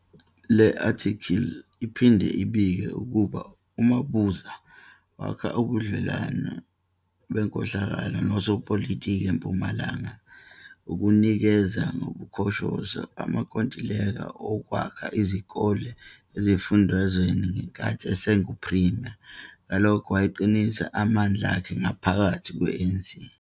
Le athikili iphinde ibike ukuba uMabuza wakha ubudlelwano benkohlakalo nosopilitiki eMpumalanga ngokunikezela, ngobukhoshosho, amankontileka wokwakha izikole esifundazweni ngenkathi esengu premier, ngalokho wayeqinisa amandla akhe ngaphakathi kwe ANC.